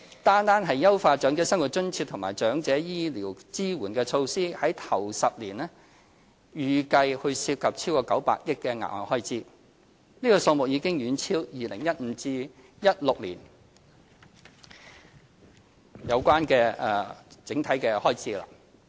單是優化長者生活津貼和長者醫療支援的措施，首10年便預計涉及超過900億元額外開支。這數目已遠超 2015-2016 年度預留的500億元。